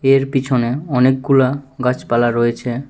এর পিছনে অনেকগুলা গাছপালা রয়েছে।